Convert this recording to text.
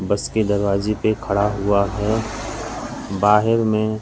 बस के दरवाजे पे खड़ा हुआ है बाहेर में--